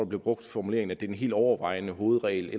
blev brugt formuleringen at det er den helt overvejende hovedregel